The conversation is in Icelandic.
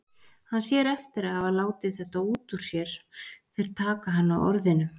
Hann sér eftir að hafa látið þetta út úr sér, þeir taka hann á orðinu.